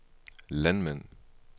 landmænd